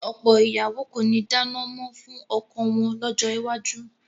Ọ̀pọ̀ ìyàwó kò ní dáná mọ́ fún ọkọ wọn lọ́jọ́ iwájú